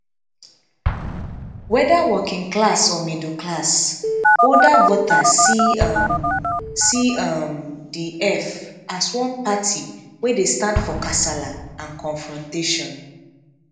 weda working class or middle class older voters see um see um di eff as one party wey dey stand for kasala and confrontation